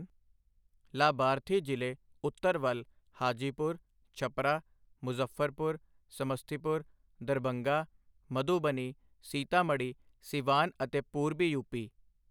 ਲਾਭਾਰਥੀ ਜ਼ਿਲ੍ਹੇ ਉੱਤਰ ਵੱਲ ਹਾਜ਼ੀਪੁਰ, ਛਪਰਾ, ਮੁਜ਼ੱਫਰਪੁਰ, ਸਮਸਤੀਪੁਰ, ਦਰਭੰਗਾ, ਮਧੂਬਨੀ, ਸੀਤਾਮੜ੍ਹੀ, ਸਿਵਾਨ ਅਤੇ ਪੂਰਬੀ ਯੂਪੀ।